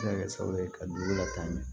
Se ka kɛ sababu ye ka dugu lataa